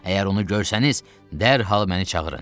Əgər onu görsəniz, dərhal məni çağırın.